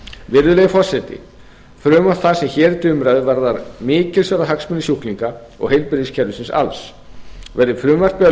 virðulegi forseti frumvarp það sem hér er til umræðu varðar mikilsverða hagsmuni sjúklinga og heilbrigðiskerfisins alls verði frumvarpið að